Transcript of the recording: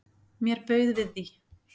Mér bauð við því.